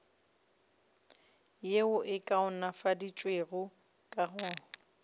yeo e kaonafaditšwego ka go